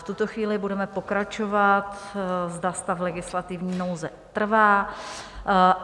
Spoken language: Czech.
V tuto chvíli budeme pokračovat, zda stav legislativní nouze trvá.